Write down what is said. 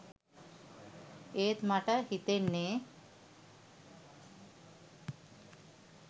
එත් මට හිතෙන්නේ